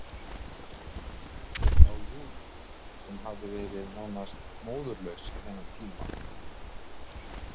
Ég sá Júlíu sem hafði verið nánast móðurlaus í þennan tíma.